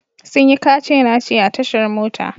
Sun yi kace-nace a tashar mota.